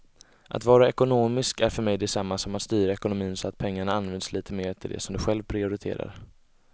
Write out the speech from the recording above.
Att vara ekonomisk är för mig detsamma som att styra ekonomin så att pengarna används lite mer till det som du själv prioriterar.